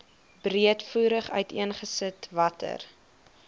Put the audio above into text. breedvoerig uiteengesit watter